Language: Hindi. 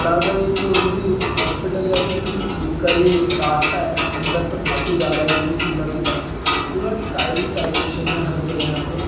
बड़ा सा एक किसी हॉस्पिटल या फिर किसी चीज का ये रास्ता है अंदर तक काफी जा रहा है बिलकुल सीधा-सीधा। पूरा टाइल ही टाइल बिछे हुए हैं हर जगह यहाँ पे।